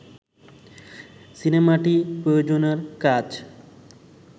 সিনেমাটি প্রযোজনার কাজ